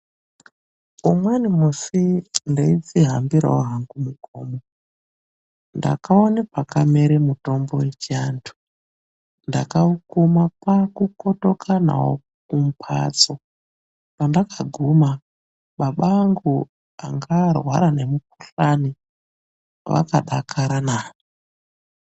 Umweni musi ndeidzihambirawo hangu mugomo. Ndakaona pakamera mutombo wechivandu. Ndakaukuma kwakukotoka nawo kumbatso. Pandakaguma, baba angu anga varwara nemukuhlani vakadakaranaa.